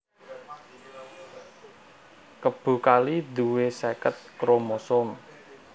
Kebo kali duwé seket kromosom